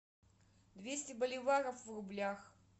двести боливаров в рублях